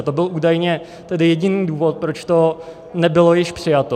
A to byl údajně jediný důvod, proč to nebylo již přijato.